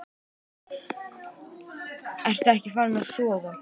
Ertu ekkert farin að sofa!